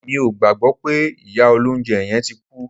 Mi ò gbàgbọ́ pé ìyá olóunjẹ yẹn tí kú